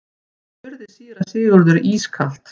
spurði síra Sigurður ískalt.